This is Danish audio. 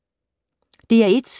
DR1